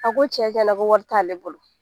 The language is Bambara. A ko tiɲɛtiɲɛna ko wari t'ale bolo